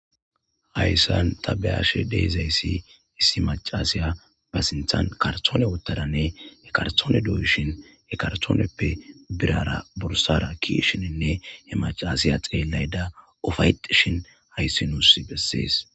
Hayssan tabeyashe deezayssi issi macasiya ba sinthan kartoone wottadanne he karthoone duuyishin he kartooneppe birara bursara kishininne he macasiya xeelayda ufaytshin hayssinuus bessees